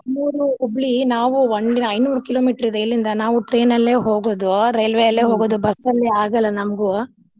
ನಮ್ಮೂರು ಹುಬ್ಳಿ ನಾವು ಒಂದ್ ದಿನಾ ಐನೂರ್ kilometer ಇದೆ. ಇಲ್ಲಿಂದಾ ನಾವು train ಅಲ್ಲೆ ಹೋಗೋದು ರೇಲ್ವೆ ಅಲ್ಲೆ ಬಸ್ಸಲ್ಲಿ ಆಗಲ್ಲಾ ನಮ್ಗು.